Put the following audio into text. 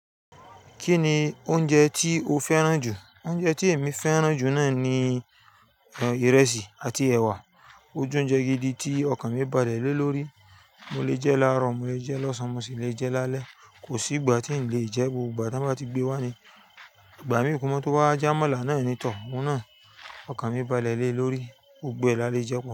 Kí ni oúnjẹ tí o fẹ́ràn jù? Oúnjẹ tí èmi fẹ́ràn jù náà ni ìrẹsì àti ẹwà. Ó j'ounjẹ gidi tí ọkàn mi bálẹ lé lórí. Mo lè jẹ́ láàrọ̀, mo lè jẹ́ lọ́sàn án, mo sì lè jẹ́ lálẹ́. Kò sí ìgbà tí n lè jẹ́. Gbogbo ìgbà tí wọ́n bá ti gbé wá ni. Ìgbà mí kóma tu wà, j'amọ́là náà ni tọ̀. Òun náà, ọkàn mi bálẹ lé lórí, gbogbo ẹ̀ lá lẹ jẹ́pọ̀